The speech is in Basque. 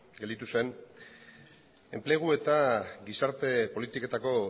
gelditu zen enplegu eta gizarte politiketako